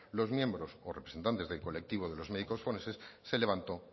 los miembros o representantes del colectivo de los médicos forenses se levantó